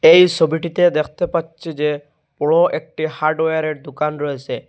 এই সোবিটিতে দেখতে পাচ্ছি যে বড় একটি হার্ডওয়ারের দোকান রয়েসে।